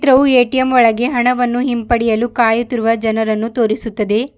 ಹಾಗು ಎ_ಟಿ_ಎಂ ಒಳಗೆ ಹಣವನ್ನು ಹಿಂಪಡೆಯಲು ಕಾಯುತ್ತಿರುವ ಜನರನ್ನು ತೋರಿಸುತ್ತದೆ.